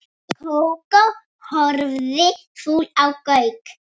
Kókó horfði fúl á Gauk.